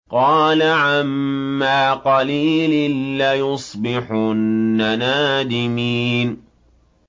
قَالَ عَمَّا قَلِيلٍ لَّيُصْبِحُنَّ نَادِمِينَ